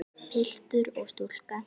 Piltur og stúlka.